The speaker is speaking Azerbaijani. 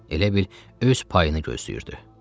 Elə bil öz payını gözləyirdi.